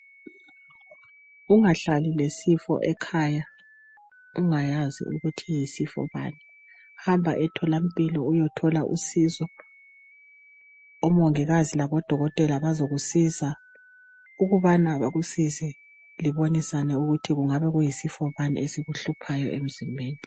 Ungahlali lesifo ekhaya ungayazi ukuthi yisifo bani hamba etholampilo uyethola usizo, omongikazi labodokotela bazokusiza ukubana bakusize libonisane ukuthi kungabe kuyisifo bani esikuhluphayo emzimbeni.